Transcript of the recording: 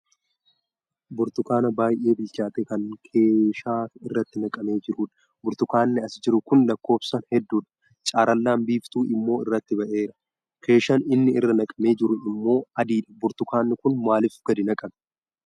Burtukaana baay'ee bilchaate kan keeshaa irratti naqamee jirudha. Burtukaanni as jiru Kun lakkoofsaan hedduudha. Carallaan biiftuu immoo irratti ba'eera. Keeshaan inni irra naqamee jiru immoo adiidha. Burtukaanni kun maalif gadi naqame?